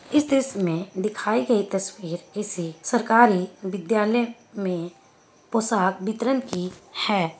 इस दृश्य मे दिखाई गई तस्वीर किसी सरकारी विद्यालय मे पोशाक वितरन की हैं ।